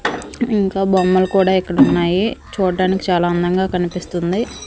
ఇంకా బొమ్మలు కూడా ఇక్కడున్నాయి చూడ్డానికి చాలా అందంగా కనిపిస్తుంది.